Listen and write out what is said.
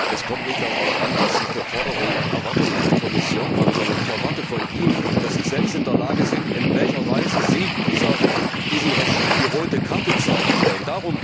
Es kommt nicht darauf an, was Sie für Forderungen und Erwartungen an die Kommission haben, sondern ich erwarte von Ihnen, dass Sie selbst in der Lage sind, zu sagen, in welcher Weise Sie diesem Regime die rote Karte zeigen wollen.